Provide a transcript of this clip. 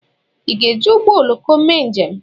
Ị ga-eji ụgbọ oloko mee njem?